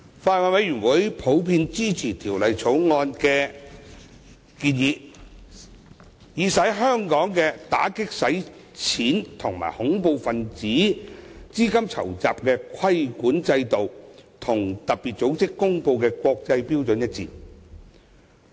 法案委員會普遍支持《條例草案》的建議，以使香港的打擊洗錢和恐怖分子資金籌集規管制度與特別組織公布的國際標準一致。